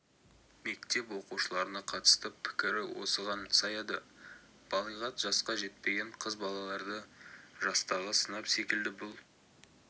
мектеп оқушыларына қатысты пікірі осыған саяды балиғат жасқа жетпеген қыз балаларды жастағы сынып секілді бұл